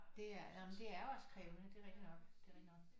Det er nej men det er også krævende det er rigtig nok det er rigtig nok